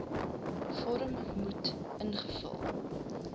vorm moet ingevul